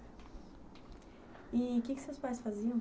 E o que que seus pais faziam?